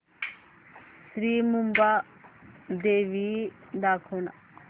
श्री मुंबादेवी दाखव ना